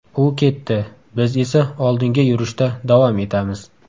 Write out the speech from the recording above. U ketdi, biz esa oldinga yurishda davom etamiz.